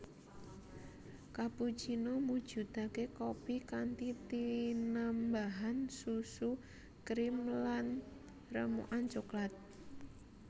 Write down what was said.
Cappuccino mujudake kopi kanthi tinambahan susu krim lan remukan cokelat